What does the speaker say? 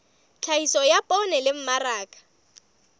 tlhahiso ya poone le mmaraka